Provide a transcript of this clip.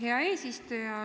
Hea eesistuja!